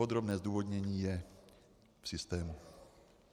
Podrobné zdůvodnění je v systému.